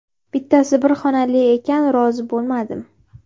Bittasi bir xonali ekan, rozi bo‘lmadim.